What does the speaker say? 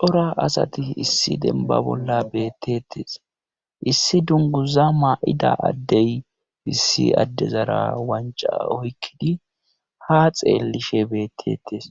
cora asati issi demba bolla beettetes issi dunguza maa7ida addey issi addezara wanca oykkidi ha xeellishe beettetes